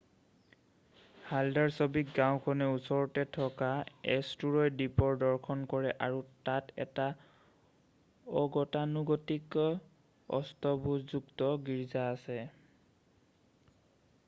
Haldarsvik গাওঁখনে ওচৰতে থকা এষ্টুৰয় দ্বীপৰ দৰ্শন কৰে আৰু তাত এটা অগতানুগতিক অষ্টভূজযুক্ত গীৰ্জা আছে